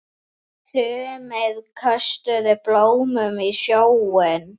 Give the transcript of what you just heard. Sumir köstuðu blómum í sjóinn.